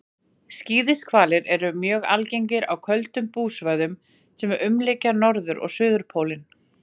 skíðishvalir eru mjög algengir á köldum búsvæðum sem umlykja norður og suðurpólinn